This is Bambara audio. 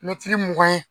Mɛtiri mugan ye